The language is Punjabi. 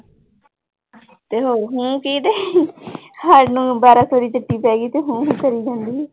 ਤੇ ਹਮ ਕੀ ਤੇ ਸਾਨੂੰ ਬਾਰਾਂ ਸੌ ਦੀ ਪੈ ਗਈ ਤੇ ਹੂੰ ਹੂੰ ਕਰੀ ਜਾਂਦੀ ਆ।